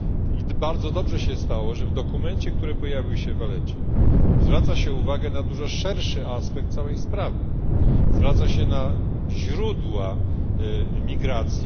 I bardzo dobrze się stało, że w dokumencie, który pojawił się w La Valetcie, zwraca się uwagę na dużo szerszy aspekt całej sprawy, zwraca się uwagę na źródła imigracji.